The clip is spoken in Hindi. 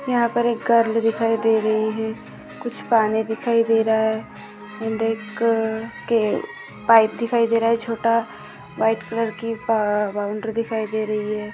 यहाँ पर एक गर्ल दिखाई दे रही है कुछ पानी दिखाई दे रहा है अँड एक के पाइप दिखाई दे रहा है छोटा व्हाइट कलर की बाउंड्री दिखाई दे रही है।